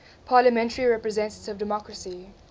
parliamentary representative democracy